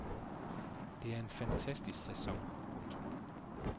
Det er en fantastisk sæson. punktum